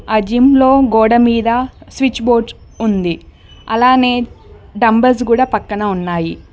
ఆ జిమ్లో గోడ మీద స్విచ్ బోర్డ్స్ ఉంది అలాగే డంబుల్స్ కూడా పక్కన ఉన్నాయి.